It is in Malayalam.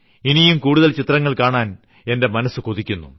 ഇനിയും കൂടുതൽ ചിത്രങ്ങൾ കാണാൻ മനസ്സു കൊതിക്കുന്നു